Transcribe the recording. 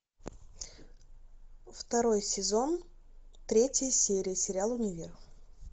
второй сезон третья серия сериал универ